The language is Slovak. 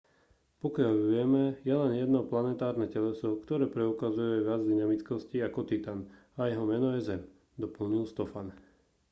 pokiaľ vieme je len jedno planetárne teleso ktoré preukazuje viac dynamickosti ako titan a jeho meno je zem doplnil stofan